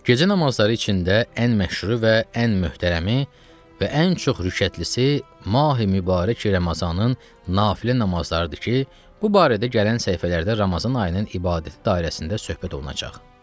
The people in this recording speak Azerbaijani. Gecə namazları içində ən məşhuru və ən möhtərəmi və ən çox rükətli Mahi Mübarək Ramazanın nafilə namazlarıdır ki, bu barədə gələn səhifələrdə Ramazan ayının ibadət dairəsində söhbət olunacaq.